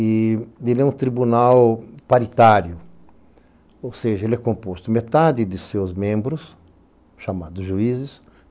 Ele é um tribunal paritário, ou seja, ele é composto de metade de seus membros, chamados juízes.